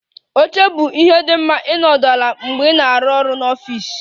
Oche bụ ihe dị mma ịnọdụ ala mgbe ị na-arụ ọrụ n'ọfịs